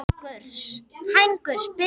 Hængur, spilaðu lag.